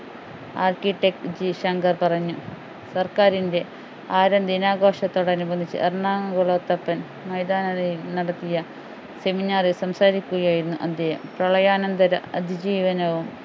architect G Shankar പറഞ്ഞു സർക്കാരിൻ്റെ ആര്യൻ ദിനാഘോഷത്തോടനുബന്ധിച്ച് എറണാകുളത്ത് മൈതാനത്തിൽ നടത്തിയ seminar ൽ സംസാരിക്കുകയായിരുന്നു അദ്ദേഹം പ്രളയനാന്തര അതിജീവനവും